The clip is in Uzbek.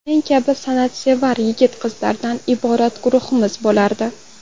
Men kabi san’atsevar yigit-qizlardan iborat guruhimiz bo‘lardi.